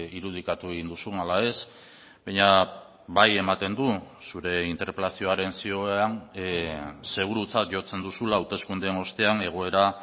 irudikatu egin duzun ala ez baina bai ematen du zure interpelazioaren zioan segurutzat jotzen duzula hauteskundeen ostean egoera